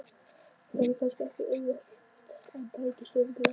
Það yrði kannski ekki auðvelt en tækist örugglega.